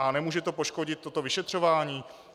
A nemůže to poškodit toto vyšetřování?